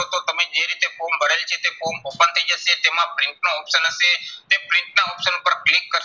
તો તમે જે રીતે form ભરેલ છે તે form open થઇ જશે. તેમાં print નો option હશે. તે print ના option પર click કરશો,